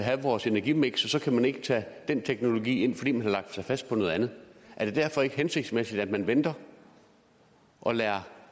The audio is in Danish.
have vores energimiks og så kan man ikke tage den teknologi med ind fordi man har lagt sig fast på noget andet er det derfor ikke hensigtsmæssigt at man venter og lader